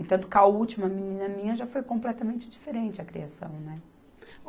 E tanto que a última menina minha já foi completamente diferente a criação, né?